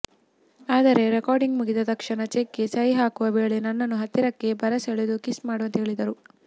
ಆದರೆ ರೆಕಾರ್ಡಿಂಗ್ ಮುಗಿದ ತಕ್ಷಣ ಚೆಕ್ಗೆ ಸಹಿ ಹಾಕುವ ವೇಳೆ ನನ್ನನ್ನು ಹತ್ತಿರಕ್ಕೆ ಬರಸೆಳೆದು ಕಿಸ್ ಮಾಡುವಂತೆ ಕೇಳಿದರು